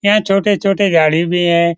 यहाँ छोटे-छोटे झाड़ी भी हैं।